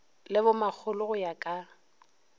le bomakgolo go ya ka